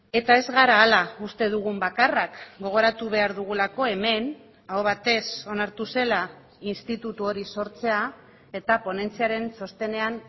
eta ez gara hala uste dugun bakarrak gogoratu behar dugulako hemen aho batez onartu zela instituto hori sortzea eta ponentziaren txostenean